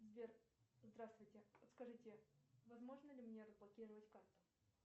сбер здравствуйте подскажите возможно ли мне разблокировать карту